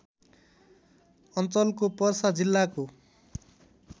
अञ्चलको पर्सा जिल्लाको